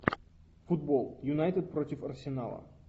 футбол юнайтед против арсенала